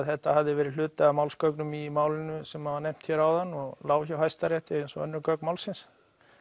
þetta hafði verið hluti af málsgögnum í málinu sem var nefnt hér áðan og lá hjá Hæstarétti eins og önnur gögn málsins